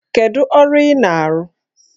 Kedu ọrụ ị na-arụ?